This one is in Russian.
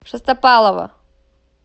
шестопалова